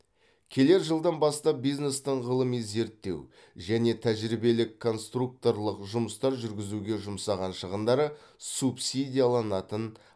келер жылдан бастап бизнестің ғылыми зерттеу және тәжірибелік конструкторлық жұмыстар жүргізуге жұмсаған шығындары субсидияланатын